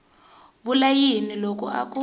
vula yini loko a ku